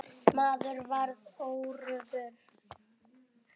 Maðurinn varð óöruggur.